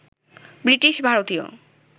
British ভারতীয়